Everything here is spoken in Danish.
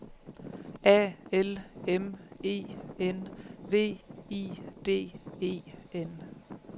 A L M E N V I D E N